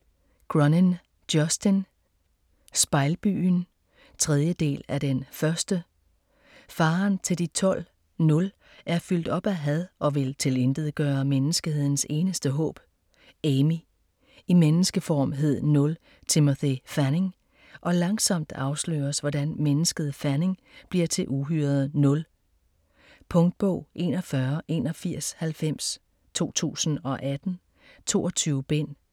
Cronin, Justin: Spejlbyen 3. del af Den første. Faderen til De Tolv, "Nul", er fyldt op af had og vil tilintetgøre menneskehedens eneste håb, Amy. I menneskeform hed Nul Timothy Fanning, og langsomt afsløres hvordan mennesket Fanning bliver til uhyret Nul. Punktbog 418190 2018. 22 bind.